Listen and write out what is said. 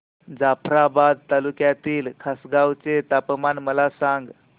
जाफ्राबाद तालुक्यातील खासगांव चे तापमान मला सांग